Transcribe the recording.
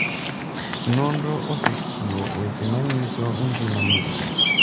Nonro osethochiwo weche ma nyiso gima Mr.